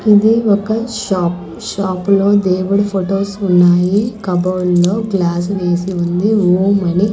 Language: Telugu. ఇది ఒక షాప్ షాప్ లో దేవుడు ఫొటోస్ ఉన్నాయి కబోర్డ్ లో గ్లాస్ వేసి ఉంది ఓం అని.